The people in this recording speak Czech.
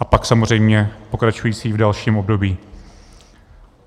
A pak samozřejmě pokračující v dalším období.